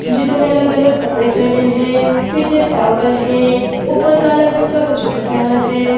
जिन्होंने अलग-अलग कपड़े पहने हैं पीछे फ्लावर हैं ऊपर काला रंग का कुछ दिख रहा है.